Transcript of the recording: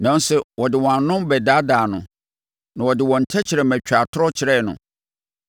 Nanso, wɔde wɔn ano bɛdaadaa no, na wɔde wɔn tɛkrɛma twaa atorɔ kyerɛɛ no;